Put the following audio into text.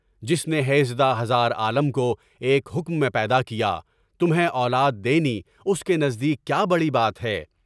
جس نے ہیژدہ ہزار عالم کو ایک حکم میں پیدا کیا، تمھے اولاد دینی اس کے نزدیک کیا بڑی بات ہے؟